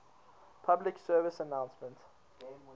public service announcement